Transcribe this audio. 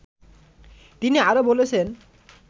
তিনি আরও বলেছেন